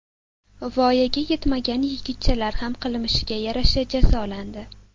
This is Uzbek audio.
Voyaga yetmagan yigitchalar ham qilmishiga yarasha jazolandi.